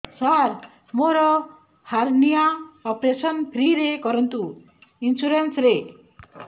ସାର ମୋର hernia operation free ରେ କରନ୍ତୁ ଇନ୍ସୁରେନ୍ସ ରେ